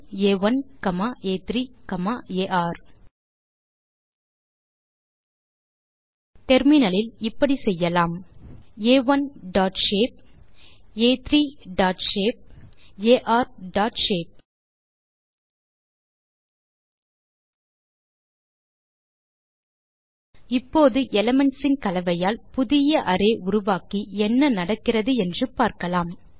ஆ1 காமா ஆ3 comma r terminal இல் இப்படி செய்யலாம் ஆ1 டாட் ஷேப் ஆ3 dot shape r dot shape இப்போது எலிமென்ட்ஸ் இன் கலவையால் புதிய அரே உருவாக்கி என்ன நடக்கிறது என்று பார்க்கலாம்